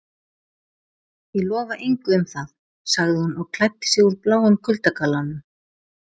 Ég lofa engu um það- sagði hún og klæddi sig úr bláum kuldagallanum.